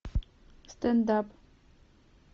стендап